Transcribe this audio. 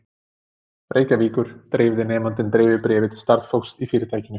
Reykjavíkur, dreifði nemandinn dreifibréfi til starfsfólks í fyrirtækinu.